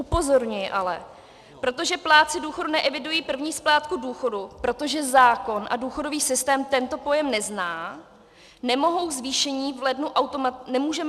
Upozorňuji ale - protože plátci důchodů neevidují první splátku důchodu, protože zákon a důchodový systém tento pojem nezná, nemůžeme zvýšení v lednu automatizovaně provést.